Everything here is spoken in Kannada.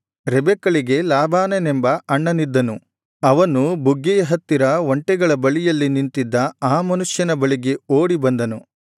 ರೆಬೆಕ್ಕಳಿಗೆ ಲಾಬಾನನೆಂಬ ಅಣ್ಣನಿದ್ದನು ಅವನು ಬುಗ್ಗೆಯ ಹತ್ತಿರ ಒಂಟೆಗಳ ಬಳಿಯಲ್ಲಿ ನಿಂತಿದ್ದ ಆ ಮನುಷ್ಯನ ಬಳಿಗೆ ಓಡಿಬಂದನು